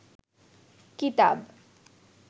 কিতাব